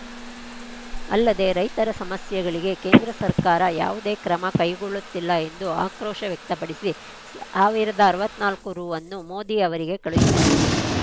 ಅಲ್ಲದೆ ರೈತರ ಸಮಸ್ಯೆಗಳಿಗೆ ಕೇಂದ್ರ ಸರ್ಕಾರ ಯಾವುದೇ ಕ್ರಮ ಕೈಗೊಳ್ಳುತ್ತಿಲ್ಲ ಎಂದು ಆಕ್ರೋಶ ವ್ಯಕ್ತಪಡಿಸಿ ಸಾವಿರದ ಅರವತ್ತ್ ನಾಲ್ಕು ರು ಅನ್ನು ಮೋದಿ ಅವರಿಗೆ ಕಳುಹಿಸಿದ್ದರು